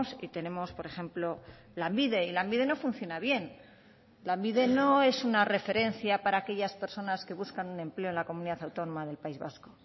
y tenemos por ejemplo lanbide y lanbide no funciona bien lanbide no es una referencia para aquellas personas que buscan un empleo en la comunidad autónoma del país vasco